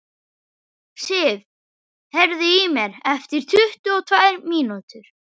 Sif, heyrðu í mér eftir tuttugu og tvær mínútur.